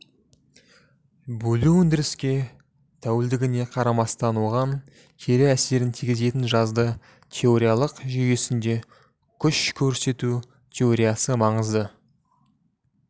бөлу өндіріске тәуелдігіне қарамастан оған кері әсерін тигізетінін жазды теориялық жүйесінде күш көрсету теориясы маңызды